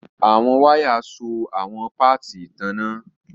Awọn waya so awọn paati itanna.